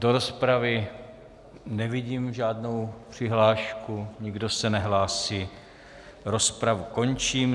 Do rozpravy nevidím žádnou přihlášku, nikdo se nehlásí, rozpravu končím.